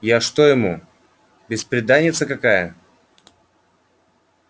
я что ему бесприданница какая